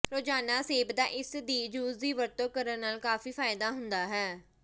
ਰੋਜ਼ਾਨਾ ਸੇਬਦਾ ਇਸ ਦੀ ਜੂਸ ਦੀ ਵਰਤੋਂ ਕਰਨ ਨਾਲ ਕਾਫੀ ਫਾਇਦਾ ਹੁੰਦਾ ਹੈ